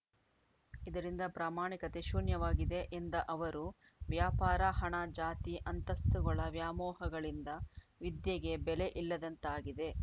ಇದರಿಂದ ಪ್ರಾಮಾಣಿಕತೆ ಶೂನ್ಯವಾಗಿದೆ ಎಂದ ಅವರು ವ್ಯಾಪಾರ ಹಣ ಜಾತಿ ಅಂತಸ್ತುಗಳ ವ್ಯಾಮೋಹಗಳಿಂದ ವಿದ್ಯೆಗೆ ಬೆಲೆ ಇಲ್ಲದಂತಾಗಿದೆ